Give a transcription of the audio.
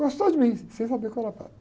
Gostou de mim, sem saber qual era padre.